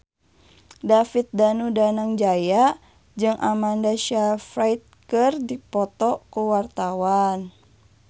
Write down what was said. David Danu Danangjaya jeung Amanda Sayfried keur dipoto ku wartawan